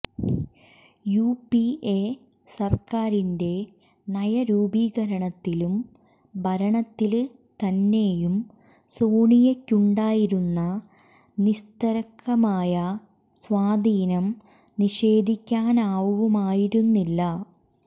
U P A സര്ക്കാരിന്റെ നയരൂപീകരണത്തിലും ഭരണത്തില് തന്നെയും സോണിയക്കുണ്ടായിരുന്ന നിസ്തര്ക്കമായ സ്വാധീനം നിഷേധിക്കാനാവുമായിരുന്നില്ല